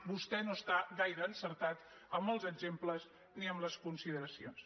vostè no està gaire encertat amb els exemples ni amb les consideracions